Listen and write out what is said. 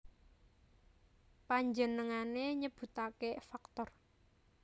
Panjenengané nyebutaké faktor